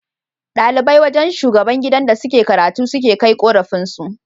Dalibai wajan shugaban gidan da suke karatu suke Kai korafin su